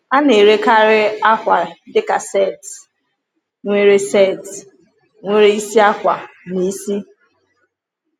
A na-erekarị akwa dị ka set, nwere set, nwere isi akwa na isi.